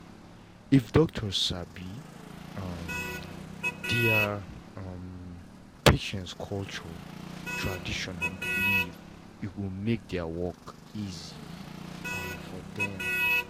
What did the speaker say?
if doctors sabi um their um patients culture traditions and beliefs e go make their work easy um for dem